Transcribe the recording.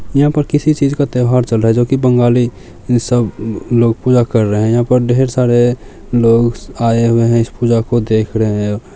यहाँ पर किसी चीज का त्यौहार चल रहा है जो बंगाली सब लोग पूजा कर रहे है यहाँ पे ढेर सारे लोग आए हुए है इस पूजा को देख रहे है।